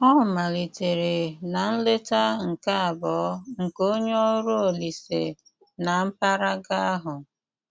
Ọ́ málítéré ná nlétá nké àbuò nké onye órụ́ Òlíse ná m̀pàràgà áhụ́.